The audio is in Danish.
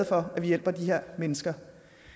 for de mennesker